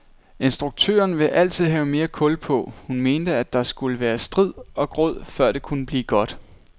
Instrukturen ville altid have mere kul på, hun mente, at der skulle være strid og gråd, før det kunne blive godt.